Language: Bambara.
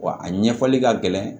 Wa a ɲɛfɔli ka gɛlɛn